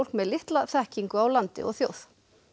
með litla þekkingu á landi og þjóð